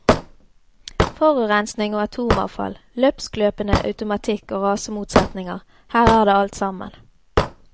Forurensning og atomavfall, løpskløpende automatikk og rasemotsetninger, her er det alt sammen.